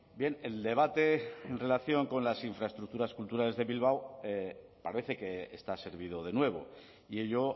bien el debate en relación con las infraestructuras culturales de bilbao parece que está servido de nuevo y ello